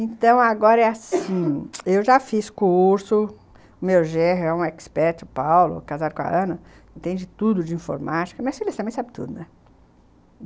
Então, agora é assim, eu já fiz curso, o meu genro é um expert, o Paulo, casado com a Ana, entende tudo de informática, mas, sabe tudo, né?